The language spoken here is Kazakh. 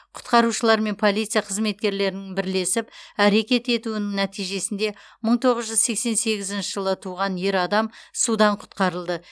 құтқарушылар мен полиция қызметкерлерінің бірлесіп әрекет етуінің нәтижесінде мың тоғыз жүз сексен сегізінші жылы туған ер адам судан құтқарылды